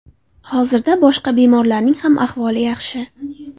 Hozirda boshqa bemorlarning ham ahvoli yaxshi.